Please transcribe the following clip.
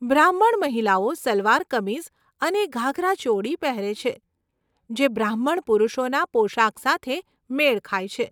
બ્રાહ્મણ મહિલાઓ સલવાર કમીઝ અને ઘાઘરા ચોળી પહેરે છે, જે બ્રાહ્મણ પુરુષોના પોશાક સાથે મેળ ખાય છે.